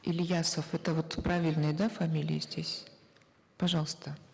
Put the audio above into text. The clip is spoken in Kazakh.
ильясов это вот правильные да фамилии здесь пожалуйста